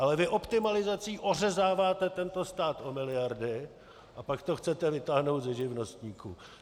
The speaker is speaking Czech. Ale vy optimalizací ořezáváte tento stát o miliardy, a pak to chcete vytáhnout ze živnostníků.